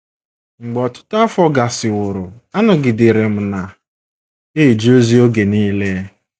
Mgbe ọtụtụ afọ gasịworo, anọgidere m na - eje ozi oge nile.